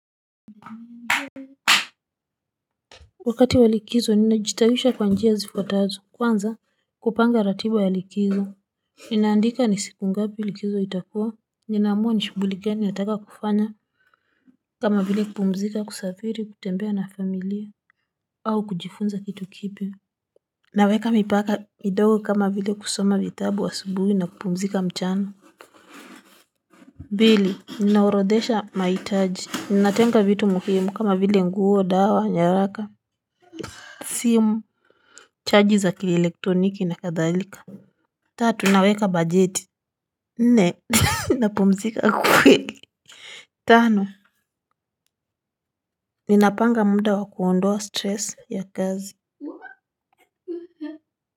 Wakati wa likizo ninajitawisha kwa njia zifuatazo kwanza kupanga ratiba ya likizo ninaandika ni siku ngapi likizo itakuwa ninaamua ni shughuli geni ataka kufanya kama vile kupumzika kusafiri kutembea na familia au kujifunza kitu kipi naweka mipaka midogo kama vile kusoma vitabu asubuhi na kupumzika mchana pili ninaorodhesha mahitaji ninatenga vitu muhimu kama vile nguo dawa nyaraka. Simu chaji za kielektroniki na kadhalika. Tatu, naweka bajeti. Nne napumzika kweli. Tano ninapanga muda wa kuondoa stress ya kazi.